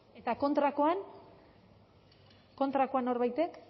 eta kontrakoan kontrakoan norbaitek